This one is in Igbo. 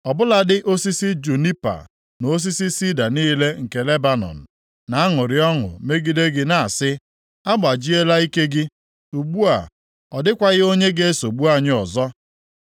Ọ bụladị osisi junipa na osisi sida niile nke Lebanọn na-aṅụrị ọṅụ megide gị na-asị, “Agbajiela ike gị; ugbu a ọ dịkwaghị onye ga-esogbu anyị ọzọ.”